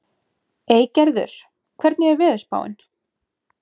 Eygerður, hvernig er veðurspáin?